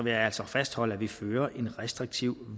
jeg altså fastholde at vi fører en restriktiv